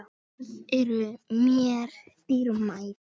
Þessi orð eru mér dýrmæt.